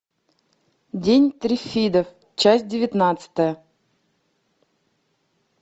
день триффидов часть девятнадцатая